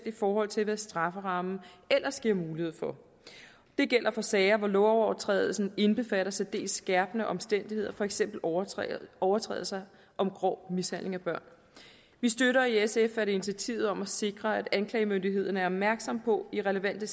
i forhold til hvad strafferammen ellers giver mulighed for det gælder for sager hvor lovovertrædelsen indbefatter særdeles skærpende omstændigheder for eksempel overtrædelser overtrædelser om grov mishandling af børn vi støtter i sf initiativet om at sikre at anklagemyndigheden er opmærksom på i relevante